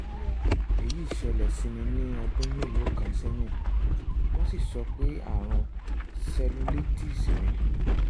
èyí ṣẹlẹ̀ sí mi ní ọdún mélòó kan sẹ́yìn wọ́n sì sọ pé ààrùn cellulitis ni